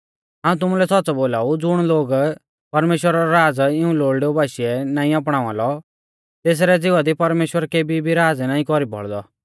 हाऊं तुमुलै सौच़्च़ौ बोलाऊ ज़ुण लोग परमेश्‍वरा रौ राज़ इऊं लोल़डेऊ बाशीऐ नाईं अपणावा लौ तेसरै ज़िवा दी परमेश्‍वर केभी भी राज़ नाईं कौरी बौल़दौ